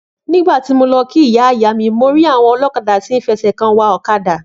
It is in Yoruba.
Nígbàtí mo lọ kí Ìyáìyámí mo rí àwọn olókadà tí fẹsẹ̀ kan wa ọ̀kadà.